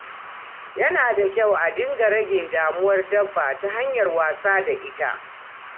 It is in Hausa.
Yana da kyau a dinga rage damuwar dabba ta hanyar wasa da ita.